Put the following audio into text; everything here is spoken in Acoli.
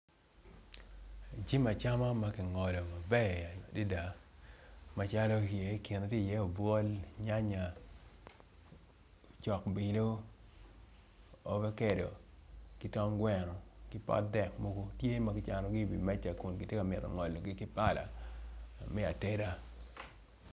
Eni jami acama makingoli gi maber adada ikine tye i ye obwol nyanya cok bino ovacado kitong gweno kipot dek mogo tye magicano gi i wi meca kun tye magingolo gi ki pala me ateda.